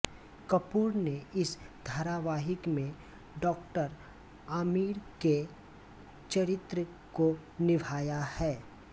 कपूर ने इस धारावाहिक में डॉआमिर के चरित्र को निभाया है